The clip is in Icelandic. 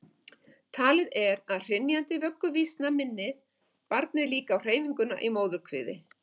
Talið er að hrynjandi vögguvísna minni barnið líka á hreyfinguna í móðurkviði.